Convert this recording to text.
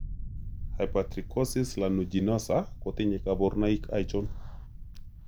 Hypertrichosis lanuginosa kotinye kaborunoik achon?